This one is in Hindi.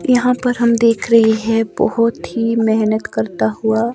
यहां पर हम देख रहे हैं बहोत ही मेहनत करता हुआ--